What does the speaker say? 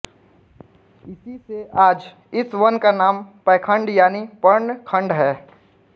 इसीसे आज इस वन का नाम पैखण्ड यानी पर्ण खण्ड़ है